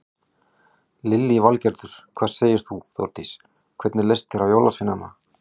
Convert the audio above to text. Lillý Valgerður: Hvað segir þú Þórdís, hvernig leist þér á jólasveinana?